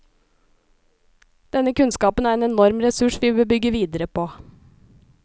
Denne kunnskapen er en enorm ressurs vi bør bygge videre på.